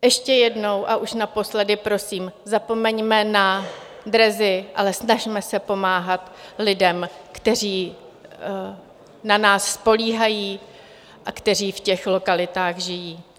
Ještě jednou a už naposledy prosím, zapomeňme na dresy, ale snažme se pomáhat lidem, kteří na nás spoléhají a kteří v těch lokalitách žijí.